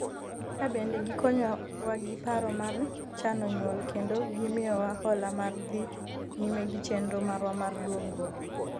kae bende gikonyo wa gi paro mar chano nyuol kendo gimiyowa hola mar dhi nyime gi chenro marwa mar dongruok